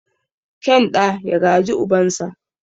Kyan ɗa ya gaji ubansa.